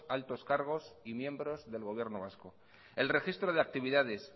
altos cargos y miembros del gobierno vasco el registro de actividades